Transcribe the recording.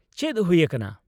ᱪᱮᱫ ᱦᱩᱭ ᱟᱠᱟᱱᱟ ?